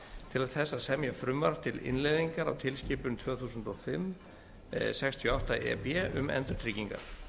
til þess að semja frumvarp til innleiðingar á tilskipun tvö þúsund og fimm sextíu og átta e b um endurtryggingar